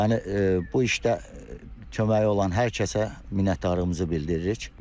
Yəni bu işdə köməyi olan hər kəsə minnətdarlığımızı bildiririk.